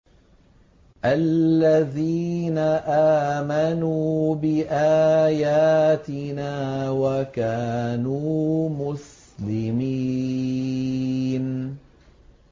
الَّذِينَ آمَنُوا بِآيَاتِنَا وَكَانُوا مُسْلِمِينَ